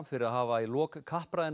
fyrir að hafa í lok